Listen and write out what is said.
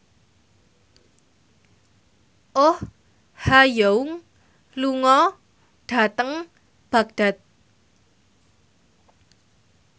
Oh Ha Young lunga dhateng Baghdad